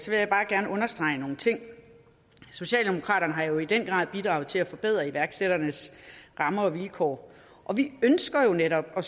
vil jeg bare gerne understrege nogle ting socialdemokraterne har jo i den grad bidraget til at forbedre iværksætternes rammer og vilkår og vi ønsker netop at